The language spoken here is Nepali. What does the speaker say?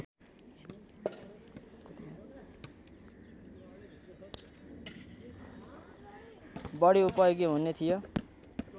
बढी उपयोगी हुने थियो